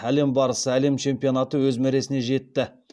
әлем барысы әлем чемпионаты өз мәресіне жетті